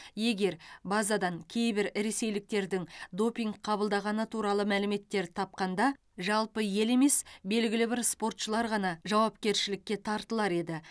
егер базадан кейбір ресейліктердің допинг қабылдағаны туралы мәліметтер тапқанда жалпы ел емес белгілі бір спортшылар ғана жауапкершілікке тартылар еді